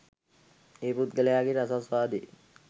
ඒ පුද්ගලයගේ රසාස්වාදයේ